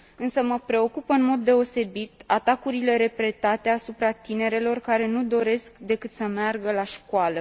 Însă mă preocupă în mod deosebit atacurile repetate asupra tinerelor care nu doresc decât să meargă la școală.